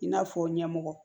I n'a fɔ ɲɛmɔgɔ